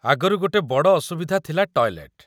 ଆଗରୁ ଗୋଟେ ବଡ଼ ଅସୁବିଧା ଥିଲା ଟଏଲେଟ୍।